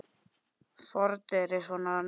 Fordyri svo nefna má.